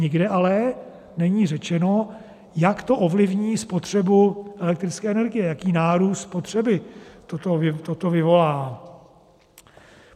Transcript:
Nikde ale není řečeno, jak to ovlivní spotřebu elektrické energie, jaký nárůst spotřeby toto vyvolá.